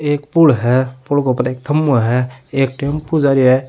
एक पूल है पूल क ऊपर एक खंभ्भों है एक टेंपू जा रो है।